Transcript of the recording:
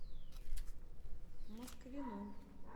москвину